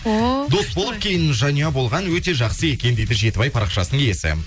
ооо дос болып кейін жанұя болған өте жақсы екен дейді жетібай парақшасының иесі